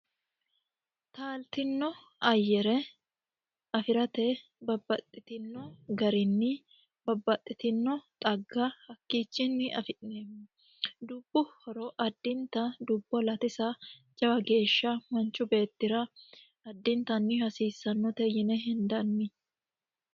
Taaltino ayere afirate babaxitino garinni babaxitino xagga hakiichinni afi'neemo dubbu horo adinta dubbo latisa jawa geesha manchu beetira adintanni hasiisanote yine hendanni.